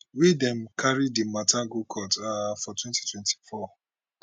wey dem carry di mata go court um for 2024